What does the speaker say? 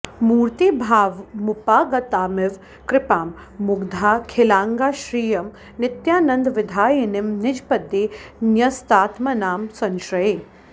मूर्तीभावमुपागतामिव कृपां मुग्धाखिलाङ्गां श्रियं नित्यानन्दविधायिनीं निजपदे न्यस्तात्मनां संश्रये